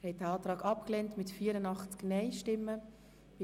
Abstimmung (Art. 72 Abs. 4; Antrag GSoK-Minderheit)